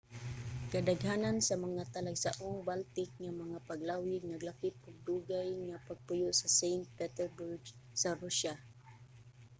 kadaghanan sa mga talagsaong baltic nga mga paglawig naglakip og dugay nga pagpuyo sa st. petersburg sa rusya